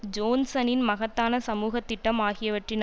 ஜோன்ஸனின் மகத்தான சமூகதிட்டம் ஆகியவற்றின்